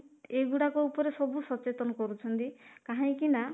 ଏଇ ଗୁଡାକ ଉପରେ ସବୁ ସଚେତନ କରୁଛନ୍ତି କାହିଁକି ନା